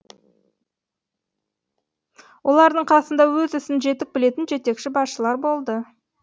олардың қасында өз ісін жетік білетін жетекші басшылар болды